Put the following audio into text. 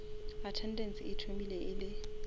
attendance e thomile e le